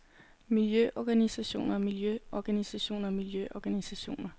miljøorganisationer miljøorganisationer miljøorganisationer